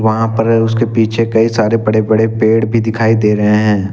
वहां पर उसके पीछे कई सारे बड़े बड़े पेड़ भी दिखाई दे रहे हैं।